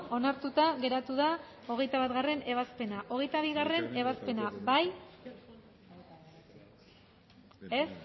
onartuta geratu da hogeita batgarrena ebazpena hogeita bigarrena ebazpena bozkatu dezakegu